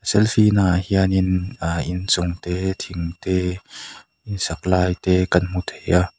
selfie naah hianin aa inchungte thingte insak laite kan hmu theia.